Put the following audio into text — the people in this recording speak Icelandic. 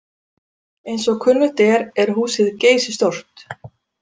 Eins og kunnugt er, er húsið geysistórt.